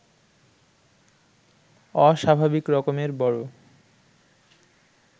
অস্বাভাবিক রকমের বড়